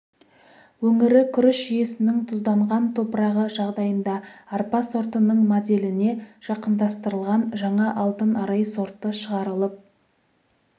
өңірі күріш жүйесінің тұзданған топырағы жағдайында арпа сортының моделіне жақындастырылған жаңа алтын арай сорты шығарылып